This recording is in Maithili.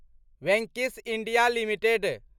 Venky's India limited